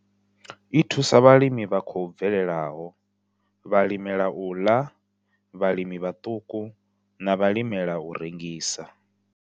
I thusa vhalimi vha khou bvelelaho, vhalimela u ḽa, vhalimi vhaṱuku na vhalimela u rengisa.